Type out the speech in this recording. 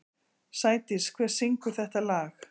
Sædís, hver syngur þetta lag?